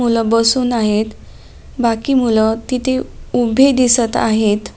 मुलं बसून आहेत बाकी मुल तिथं उभी दिसत आहेत.